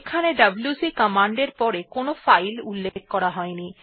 এখানে WC command এর পর কোনো ফাইল উল্লেখ করা হয়নি